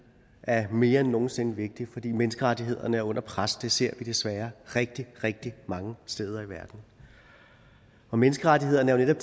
er mere end nogen sinde vigtigt fordi menneskerettighederne er under pres det ser vi desværre rigtig rigtig mange steder i verden menneskerettighederne er jo